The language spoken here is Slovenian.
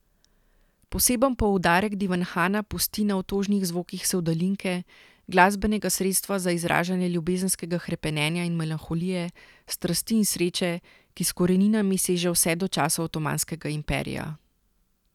Poseben poudarek Divanhana pusti na otožnih zvokih sevdalinke, glasbenega sredstva za izražanje ljubezenskega hrepenenja in melanholije, strasti in sreče, ki s koreninami seže vse do časov Otomanskega imperija.